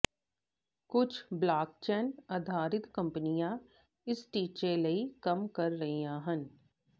ਕੁਝ ਬਲਾਕਚੈਨ ਆਧਾਰਿਤ ਕੰਪਨੀਆਂ ਇਸ ਟੀਚੇ ਲਈ ਕੰਮ ਕਰ ਰਹੀਆਂ ਹਨ